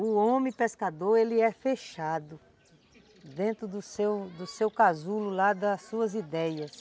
O homem pescador, ele é fechado dentro do seu casulo, lá das suas ideias.